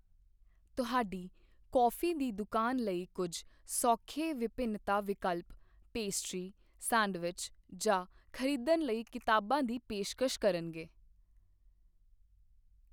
ਤੁਹਾਡੀ ਕੌਫੀ ਦੀ ਦੁਕਾਨ ਲਈ ਕੁੱਝ ਸੌਖੇ ਵਿਭਿੰਨਤਾ ਵਿਕਲਪ ਪੇਸਟਰੀ, ਸੈਂਡਵਿਚ ਜਾਂ ਖਰੀਦਣ ਲਈ ਕਿਤਾਬਾਂ ਦੀ ਪੇਸ਼ਕਸ਼ ਕਰਨਗੇ।